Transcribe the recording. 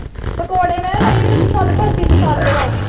ਪਕੌੜੇ ਮੈਂ ਕਿਹਾ ਨਹੀਂ ਮੈਨੂੰ ਪਸੰਦ ਪਸੰਦ ਵਾ।